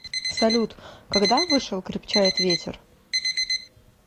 салют когда вышел крепчает ветер